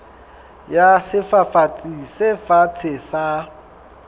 ya sefafatsi se fatshe sa